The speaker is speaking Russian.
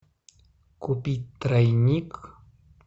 купить тройник